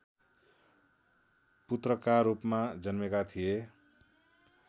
पुत्रकारूपमा जन्मेका थिए